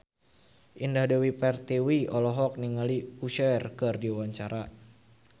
Indah Dewi Pertiwi olohok ningali Usher keur diwawancara